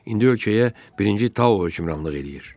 İndi ölkəyə birinci Tao hökmranlıq eləyir.